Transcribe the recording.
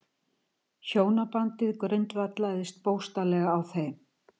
Hjónabandið grundvallaðist bókstaflega á þeim.